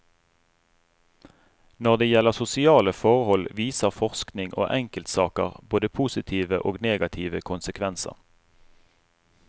Når det gjelder sosiale forhold, viser forskning og enkeltsaker både positive og negative konsekvenser.